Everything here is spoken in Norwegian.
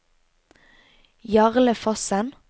Jarle Fossen